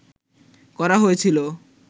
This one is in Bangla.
করা হয়েছিল